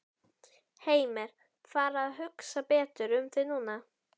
Heimir: Fara að hugsa betur um þig núna?